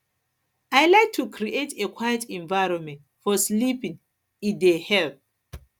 i like to create a quiet environment for sleeping e dey e dey help